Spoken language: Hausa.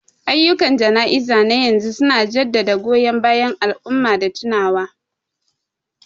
Ayyukan jana'izar na yanzu su na jaddada goyon bayan al'umma da tunawa.